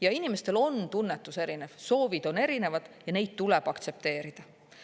Ja inimestel on tunnetus erinev, soovid on erinevad, ja neid tuleb aktsepteerida.